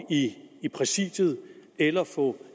i præsidiet eller få